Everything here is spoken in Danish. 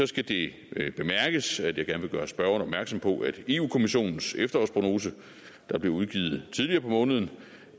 skal det bemærkes at jeg gerne vil gøre spørgeren opmærksom på at i europa kommissionens efterårsprognose der blev udgivet tidligere på måneden